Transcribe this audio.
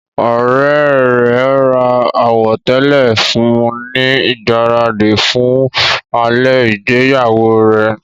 Ọ̀rẹ́ rẹ̀ ra àwọ̀tẹ́lẹ̀ fún un ní ìgbáradì fún alẹ́ ìgbéyàwó rẹ.